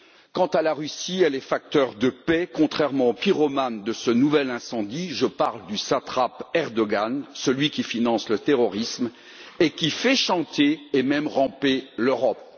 Quant à la Russie, elle est facteur de paix, contrairement au pyromane de ce nouvel incendie, je veux parler du satrape Erdoğan, celui qui finance le terrorisme et qui fait chanter et même ramper l'Europe.